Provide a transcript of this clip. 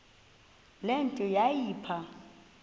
le nto yayipha